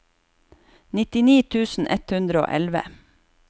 nittini tusen ett hundre og elleve